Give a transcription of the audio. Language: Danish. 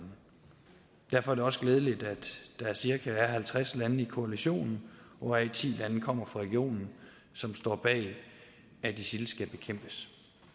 derfor er det også glædeligt at der er cirka halvtreds lande i koalitionen hvoraf ti lande kommer fra regionen som står bag at isil skal bekæmpes